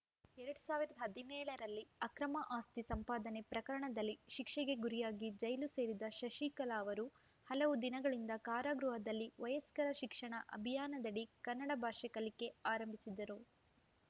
ಎರಡ್ ಸಾವಿರದ ಹದಿನೇಳರಲ್ಲಿ ಅಕ್ರಮ ಆಸ್ತಿ ಸಂಪಾದನೆ ಪ್ರಕರಣದಲ್ಲಿ ಶಿಕ್ಷೆಗೆ ಗುರಿಯಾಗಿ ಜೈಲು ಸೇರಿದ ಶಶಿಕಲಾ ಅವರು ಹಲವು ದಿನಗಳಿಂದ ಕಾರಾಗೃಹದಲ್ಲಿ ವಯಸ್ಕರ ಶಿಕ್ಷಣ ಅಭಿಯಾನದಡಿ ಕನ್ನಡ ಭಾಷೆ ಕಲಿಕೆ ಆರಂಭಿಸಿದ್ದರು